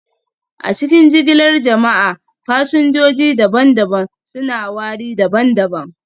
A cikin jigilar jama'a, fasinjoji daban-daban suna wari daban-daban